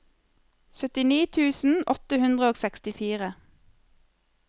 syttini tusen åtte hundre og sekstifire